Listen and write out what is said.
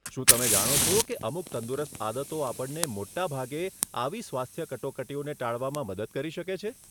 શું તમે જાણો છો કે અમુક તંદુરસ્ત આદતો આપણને મોટાભાગે આવી સ્વાસ્થ્ય કટોકટીઓને ટાળવામાં મદદ કરી શકે છે?